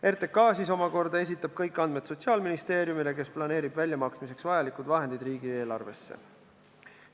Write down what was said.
RTK omakorda esitab kõik andmed Sotsiaalministeeriumile, kes planeerib väljamaksmiseks vajalikud vahendid riigieelarvesse.